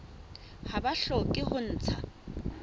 ha ba hloke ho ntsha